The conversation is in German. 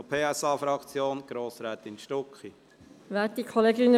Für die SP-JUSOPSA-Fraktion hat Grossrätin Stucki das Wort.